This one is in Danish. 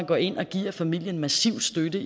går ind og giver familien massiv støtte